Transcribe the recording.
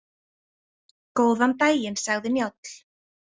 Góðan daginn, sagði Njáll.